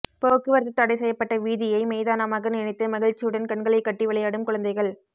போக்குவரத்து தடை செய்யப்பட்ட வீதியை மைதானமாக நினைத்து மகிழ்ச்சியுடன் கண்களை கட்டி விளையாடும் குழந்தகள்